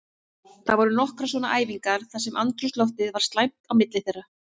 Það voru nokkrar svona æfingar þar sem andrúmsloftið var slæmt á milli þeirra.